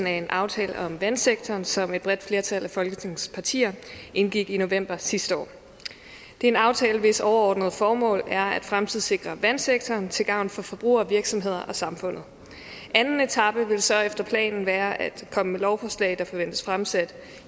af en aftale om vandsektoren som et bredt flertal af folketingets partier indgik i november sidste år det er en aftale hvis overordnede formål er at fremtidssikre vandsektoren til gavn for forbrugere virksomheder og samfundet anden etape vil så efter planen være at komme med lovforslag der forventes fremsat